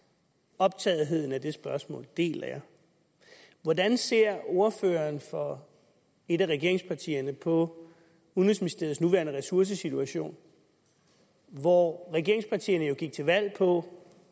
og optagetheden af det spørgsmål deler jeg hvordan ser ordføreren for et af regeringspartierne på udenrigsministeriets nuværende ressourcesituation hvor regeringspartierne jo gik til valg på